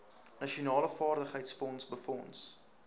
nasionale vaardigheidsfonds befonds